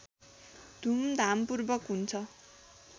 धुमधामपूर्वक हुन्छ